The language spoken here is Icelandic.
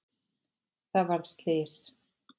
Það varð slys.